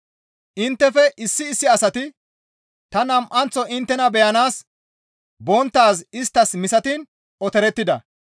Inttefe issi issi asati ta nam7anththo inttena beyanaas bonttaaz isttas misatiin otorettida.